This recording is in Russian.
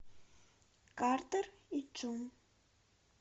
картер и джун